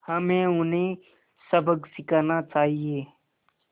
हमें उन्हें सबक सिखाना चाहिए